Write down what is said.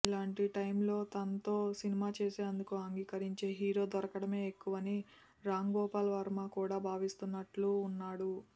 ఇలాంటి టైమ్లో తనతో సినిమా చేసేందుకు అంగీకరించే హీరో దొరకడమే ఎక్కువని రాంగోపాల్వర్మ కూడా భావిస్తున్నట్టు ఉన్నాడు